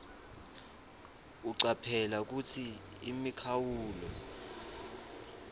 ucaphele kutsi imikhawulo